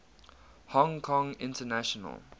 hong kong international